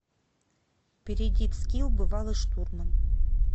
перейди в скилл бывалый штурман